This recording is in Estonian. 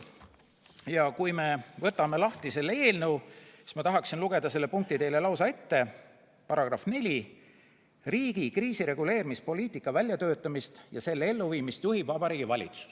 Ja kui me võtame lahti selle eelnõu, siis ma tahaksin lugeda selle punkti teile lausa ette, § 4: "Riigi kriisireguleerimispoliitika väljatöötamist ja selle elluviimist juhib Vabariigi Valitsus.